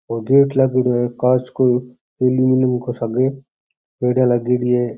Gate लागेड़ो है कांच का अलमुनियम को सागे पेढ़ीया लागेड़ी है।